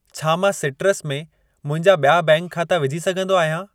छा मां सिट्रस में मुंहिंजा ॿिया बैंक खाता विझी सघंदो आहियां?